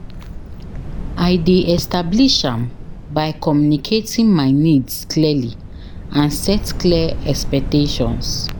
I dey establish am by communicating my needs clearly and set clear expectations